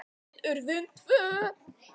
Við urðum tvö.